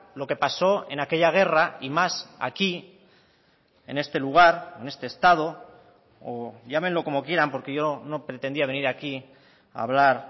lo que pasó en aquella guerra y más aquí en este lugar en este estado o llámenlo como quieran porque yo no pretendía venir aquí a hablar